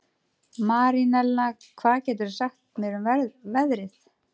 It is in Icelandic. Marinella, hvað geturðu sagt mér um veðrið?